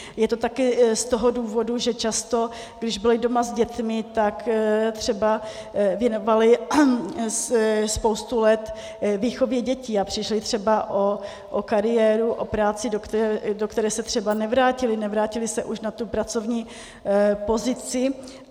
Je to také z toho důvodu, že často, když byly doma s dětmi, tak třeba věnovaly spoustu let výchově dětí a přišly třeba o kariéru, o práci, do které se třeba nevrátily, nevrátily se už na tu pracovní pozici.